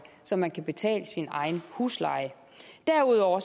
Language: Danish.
så man kan betale sin egen husleje derudover